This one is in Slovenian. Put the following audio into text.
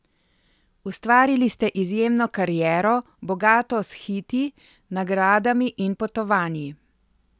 Ustvarili ste izjemno kariero, bogato s hiti, nagradami in potovanji.